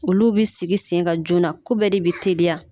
Olu bi sigi sen ka joona ko bɛɛ de bi teliya